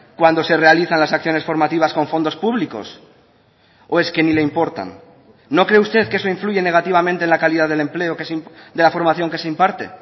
cuando se realizan las acciones formativas con fondos públicos o es que ni le importan no cree usted que eso influye negativamente en la calidad del empleo de la formación que se imparte